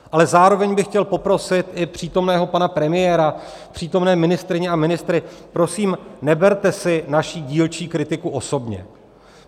Ale zároveň bych chtěl poprosit i přítomného pana premiéra, přítomné ministryně a ministry, prosím, neberte si naši dílčí kritiku osobně.